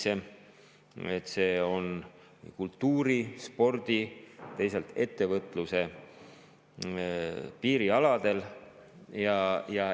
See on kultuuri ja spordi ning teisalt ettevõtluse piirialadel.